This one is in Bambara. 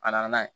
A nana n'a ye